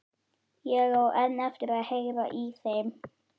Ég á enn eftir að heyra í þeim.